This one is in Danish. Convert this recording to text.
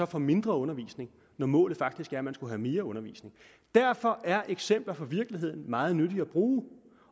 får mindre undervisning når målet faktisk er at man skulle have mere undervisning derfor er eksempler fra virkeligheden meget nyttige at bruge